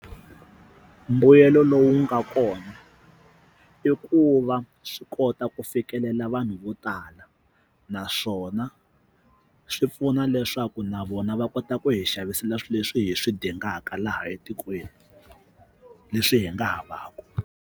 Mbuyelo lowu nga kona i ku va swi kota ku fikelela vanhu vo tala naswona swi pfuna leswaku na vona va kota ku hi xavisela swilo leswi hi swi dingaka laha etikweni leswi hi nga havaku.